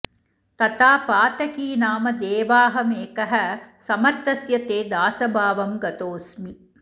तथा पातकी नाम देवाहमेकः समर्थस्य ते दासभावं गतोऽस्मि